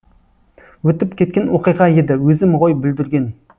өтіп кеткен оқиға еді өзім ғой бүлдірген